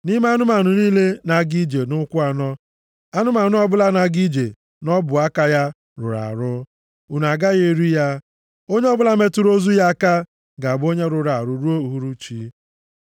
Nʼime anụmanụ niile na-aga ije nʼụkwụ anọ, anụmanụ ọbụla na-aga ije nʼọbụaka ya rụrụ arụ, unu agaghị eri ya. Onye ọbụla metụrụ ozu ya aka ga-abụ onye rụrụ arụ ruo uhuruchi.